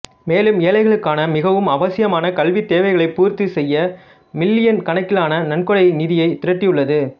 மேலும் ஏழைகளுக்கான மிகவும் அவசியமான கல்வித் தேவைகளைப் பூர்த்தி செய்ய மில்லியன் கணக்கிலான நன்கொடை நிதியைத் திரட்டியுள்ளது